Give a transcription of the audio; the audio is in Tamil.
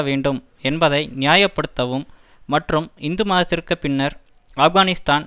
வேண்டும் என்பதை நியாய படுத்தவும் மற்றும் இந்து மாதத்திற்கு பின்னர் ஆப்கானிஸ்தான்